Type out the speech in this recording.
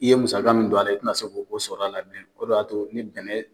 I ye musaka mun don ale, i te na se k'o sɔrɔ a la bilen. O de b'a to ni bɛnɛn